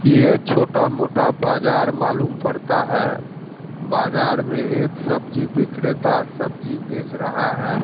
कि ये छोटा मोटा बाजार मालूम पड़ता हैं। बाजार में एक सब्जी विक्रेता सब्जी बेच रहा हैं।